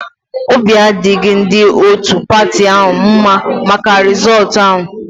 Obi adịghị ndị otu patị ahụ mma maka rịzọọtu ahụ